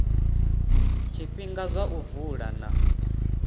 zwifhinga zwa u vula na